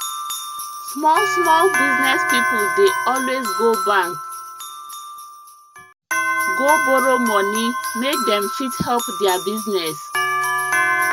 small small business people dey always go bank go borrow money make dem fit help their business